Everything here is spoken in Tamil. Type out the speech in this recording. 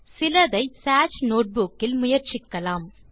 சிலதை சேஜ் நோட்புக் இல் முயற்சிக்கலாம்